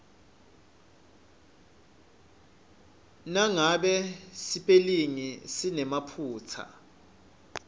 nangabe sipelingi sinemaphutsa